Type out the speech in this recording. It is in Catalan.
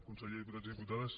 conseller diputats i diputades